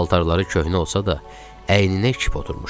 Paltarları köhnə olsa da, əyninə kip oturmuşdu.